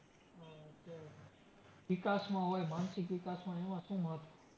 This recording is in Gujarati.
વિકાસમાં હોઈ, માનસિક વિકાસમાં એમાં શું મહત્વ?